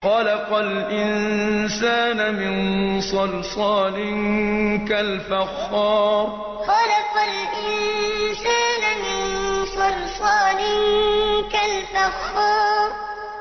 خَلَقَ الْإِنسَانَ مِن صَلْصَالٍ كَالْفَخَّارِ خَلَقَ الْإِنسَانَ مِن صَلْصَالٍ كَالْفَخَّارِ